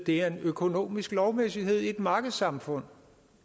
det er en økonomisk lovmæssighed i et markedssamfund